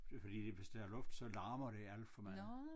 Det er fordi hvis der er luft så larmer det alt for meget